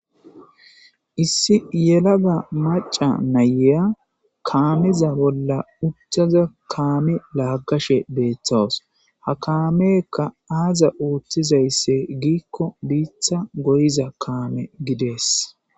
issi yelaga maca nayeya kaamiza bolla utthaza kaami laaggashe beeththawos ha kaameekka aaza uutthizaysse giikko biitha goyiza kaame gidees